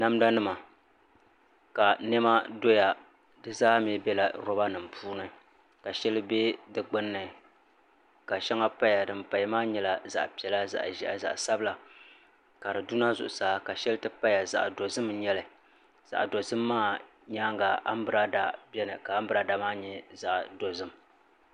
Namda nima ka niɛma doya di zaa mii biɛla roba nim puuni ka shɛli bɛ di gbunni ka shɛŋa paya din paya maa nyɛla zaɣ piɛla zaɣ ʒiɛhi zaɣ sabila ka di duna zuɣusaa ka shɛli ti paya zaɣ dozim n nyɛli zaɣ dozim maa nyaanga anbirala biɛni ka anbirala maa nyɛ zaɣ dozim